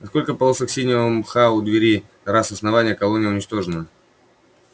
несколько полосок синего мха у двери раз основная колония уничтожена